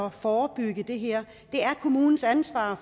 at forebygge det her det er kommunens ansvar